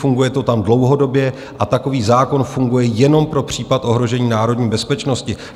Funguje to tam dlouhodobě a takový zákon funguje jenom pro případ ohrožení národní bezpečnosti.